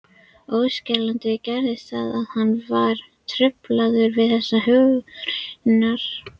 Ósjaldan gerðist það, að hann var truflaður við þessar hugrenningar.